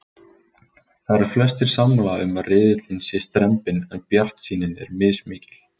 Það eru flestir sammála um að riðillinn sé strembinn en bjartsýnin er mismikil.